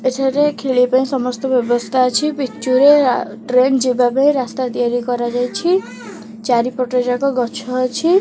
ଏଠାରେ ଖେଳିବା ପାଇଁ ସମସ୍ତ ବ୍ୟବସ୍ଥା ଅଛି ପିଚୁରେ ଆ ଟ୍ରେନ୍ ଯିବା ପାଇଁ ରାସ୍ତା ତିଆରି କରାଯାଇଛି ଚାରିପଟ ଯାକ ଗଛ ଅଛି।